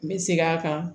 N bɛ segin a kan